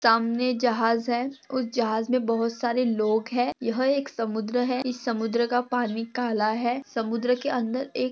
सामने जहाज है। उस जहाज मे बहुत सारे लोग है। यह एक समुद्र है। इस समुद्र का पानी काला है। समुद्र के अंदर एक--